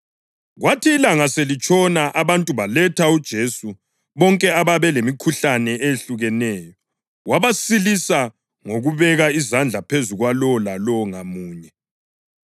Kwathi ilanga selitshona abantu baletha kuJesu bonke ababe lemikhuhlane eyehlukeneyo, wabasilisa ngokubeka izandla phezu kwalowo lalowo ngamunye.